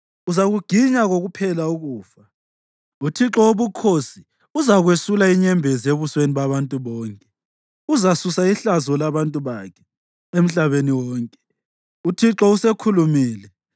uzakuginya kokuphela ukufa. UThixo Wobukhosi uzakwesula inyembezi ebusweni babantu bonke; uzasusa ihlazo labantu bakhe emhlabeni wonke. UThixo usekhulumile.